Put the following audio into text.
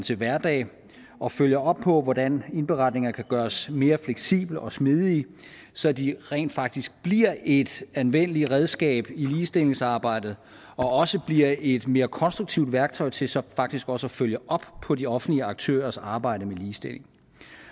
til hverdag og følger op på hvordan indberetningerne kan gøres mere fleksible og smidige så de rent faktisk bliver et anvendeligt redskab i ligestillingsarbejdet og også bliver et mere konstruktivt værktøj til så faktisk også at følge op på de offentlige aktørers arbejde med ligestilling